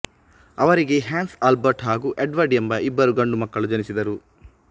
ಅವರಿಗೆ Hans Albert ಹಾಗೂ Edward ಎಂಬ ಇಬ್ಬರು ಗಂಡು ಮಕ್ಕಳು ಜನಿಸಿದರು